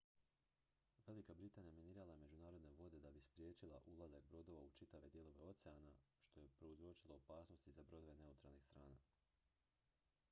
velika britanija minirala je međunarodne vode da bi spriječila ulazak brodova u čitave dijelove oceana što je prouzročilo opasnost i za brodove neutralnih strana